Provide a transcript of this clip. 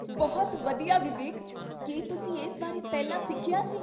ਬਹੁਤ ਵਧੀਆ ਵਿਵੇਕ! ਕੀ ਤੁਸੀਂ ਇਸ ਬਾਰੇ ਪਹਿਲਾਂ ਸਿੱਖਿਆ ਸੀ?